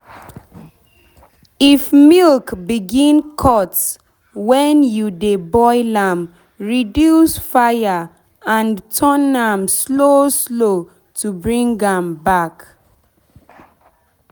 if milk begin cut when you dey boil am reduce fire and turn am slow slow to bring am back.